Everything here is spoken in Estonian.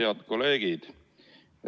Head kolleegid!